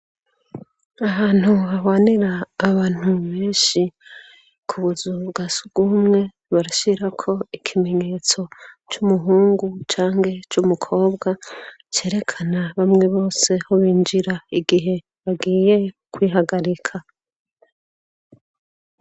Ahantu bahwanera abantu benshi ku buzu bwa s gumwe barashirako ikimenyetso c'umuhungu canke c'umukobwa cerekana bamwe boseho binjira igihe bagiye kwihagarika.